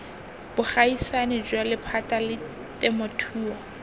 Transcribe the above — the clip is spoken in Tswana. bogaisani jwa lephata la temothuo